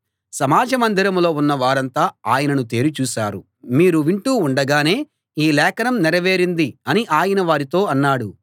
సమాజ మందిరంలో ఉన్న వారంతా ఆయనను తేరి చూశారు మీరు వింటూ ఉండగానే ఈ లేఖనం నెరవేరింది అని ఆయన వారితో అన్నాడు